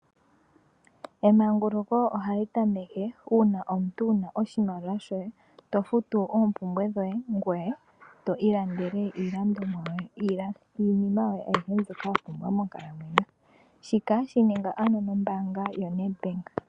Emanguluko ohali tameke uuna omuntu wua oshimaliwa shoye tofutu oompumbwe dhoye ngoye to ilandele iinima yoye ayihe mbyoka wapumbwa monkalamwenyo shika shininga ano nombaanga yaNedbank.